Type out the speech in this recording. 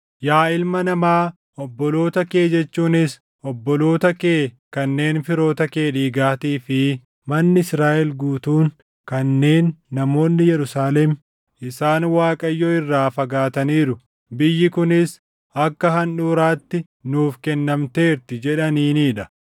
“Yaa ilma namaa, obboloota kee jechuunis obboloota kee kanneen firoota kee dhiigaatii fi manni Israaʼel guutuun kanneen namoonni Yerusaalem, ‘Isaan Waaqayyo irraa fagaataniiru; biyyi kunis akka handhuuraatti nuuf kennamteerti’ jedhaniinii dha.